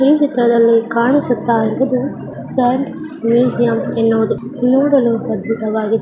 ಈ ಚಿತ್ರದಲ್ಲಿ ಕಾಣಿಸುತ್ತ ಇರುವುದು ಸ್ಯಾಂಡ್ ಮ್ಯೂಸಿಯಂ ಎನ್ನುವುದು. ನೋಡಲು ಅದ್ಭುತವಾಗಿದೆ --